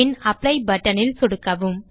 பின் apply buttonல் சொடுக்கவும்